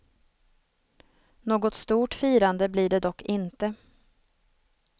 Något stort firande blir det dock inte.